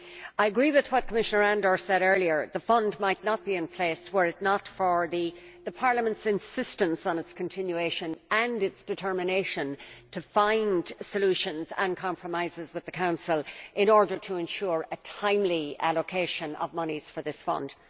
I agree with what Commission Andor said earlier the Fund might not be in place were it not for Parliament's insistence on its continuation and its determination to find solutions and compromises with the Council in order to ensure a timely allocation of monies for this Fund.